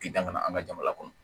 K'i dan kana an ka jamana kɔnɔ